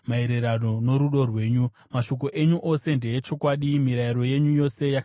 Mashoko enyu ose ndeechokwadi; mirayiro yenyu yose yakarurama ndeyokusingaperi.